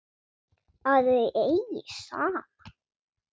Að þau eigi saman.